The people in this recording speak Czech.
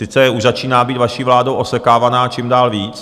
Sice už začíná být vaší vládou osekávaná čím dál víc.